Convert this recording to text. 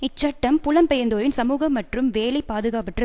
இச்சட்டம் புலம்பெயர்ந்தோரின் சமூக மற்றும் வேலை பாதுகாப்பற்ற